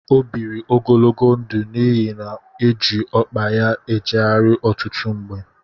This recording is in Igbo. O biri ogologo ndụ n'ihi na ọ na eji ọkpa ya ejegharị ọtụtụ mgbe.